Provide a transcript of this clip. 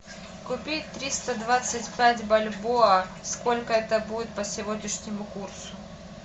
купить триста двадцать пять бальбоа сколько это будет по сегодняшнему курсу